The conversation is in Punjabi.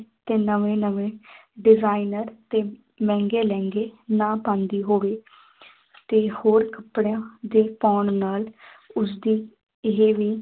ਤੇ ਨਵੇਂ ਨਵੇਂ designer ਤੇ ਮਹਿੰਗੇ ਲਹਿੰਗੇ ਨਾ ਪਾਉਂਦੀ ਹੋਵੇ ਤੇ ਹੋਰ ਕੱਪੜਿਆਂ ਦੇ ਪਾਉਣ ਨਾਲ ਉਸਦੀ ਇਹ ਵੀ